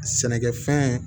Sɛnɛkɛfɛn